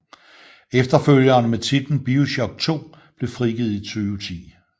Efterfølgeren med titlen Bioshock 2 blev frigivet i 2010